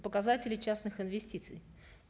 показателей частных инвестиций